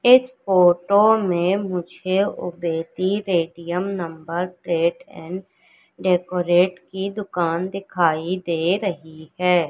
इस फोटो मे मुझे ओपेटी Paytm number plate and decorate की दुकान दिखाई दे रही हैं।